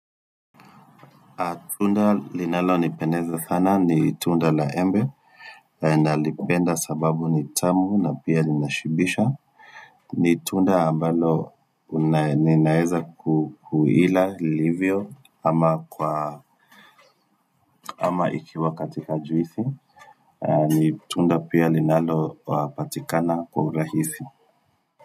Tunda linalonipendeza sana ni tunda la embe na lipenda sababu ni tamu na pia lina shibisho. Ni tunda ambalo ninaweza kuila ilivyo ama ikiwa katika juisi. Ni tunda pia linalo patikana kwa urahisi.